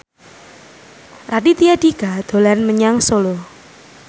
Raditya Dika dolan menyang Solo